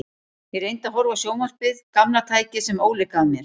Ég reyndi að horfa á sjónvarpið, gamla tækið sem Óli gaf mér.